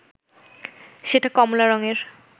সেটা কমলা রংয়ের